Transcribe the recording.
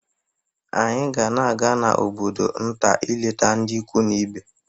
Anyị ga na-aga obodo nta ileta ndị ikwu anyị